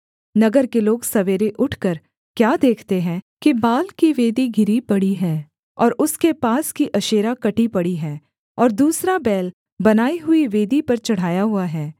नगर के लोग सवेरे उठकर क्या देखते हैं कि बाल की वेदी गिरी पड़ी है और उसके पास की अशेरा कटी पड़ी है और दूसरा बैल बनाई हुई वेदी पर चढ़ाया हुआ है